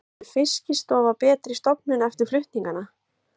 Verður Fiskistofa betri stofnun eftir flutningana?